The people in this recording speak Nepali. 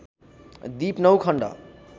दिप नौ खण्ड